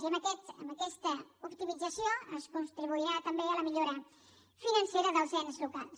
i amb aquesta optimització es contribuirà també a la millora financera dels ens locals